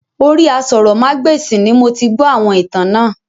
Orí aṣórómagbesìn ni moti gbó àwọn ìtàn náà